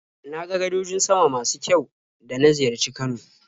Na ga gadojin sama masu kyau da na ziyarci Kano.